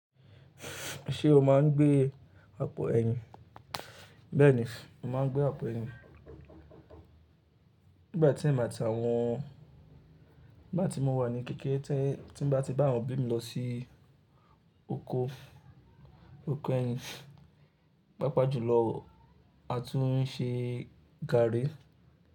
Ṣé o máa ń gbé àpò ẹyin? Bẹ́ẹ̀ni, mo màá n gbé àpò ẹyin. Nígbà tí mà á tí àwọn, nígbà tí mo wà ní kékeré, tí mo bá ti bá àwọn òbí mi lọ sí oko, oko ẹyin, pàápàá jùlọ a tún ń ṣe gari.